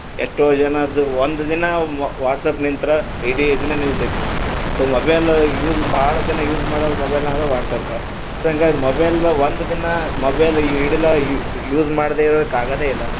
ಎಷ್ಟೋ ಜನರ್ದು ಒಂದ ದಿನ WhatsApp ನಿಂತ್ರ ಇಡೀ ದಿನ ನಿಲ್ಲತೈತಿ so mobile use ಭಾಳ ಜನ use ಮಾಡುದಂದ್ರ WhatsApp, so ಹಂಗಾಗಿ mobile ನಾ ಒಂದ ದಿನಾ mobile ಹಿಡಿಲಾ use ಮಾಡದೆ ಇರಾಕ್ ಆಗದೇ ಇಲ್ಲ.